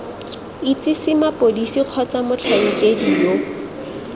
itsise mapodisi kgotsa motlhankedi yo